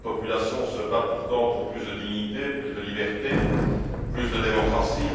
Cette population se bat pourtant pour plus de dignité, plus de liberté, plus de démocratie.